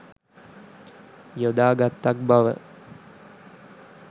යොදා ගත්තක් බව